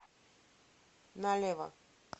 налево